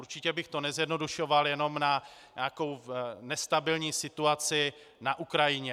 Určitě bych to nezjednodušoval jenom na nějakou nestabilní situaci na Ukrajině.